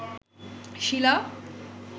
শিলা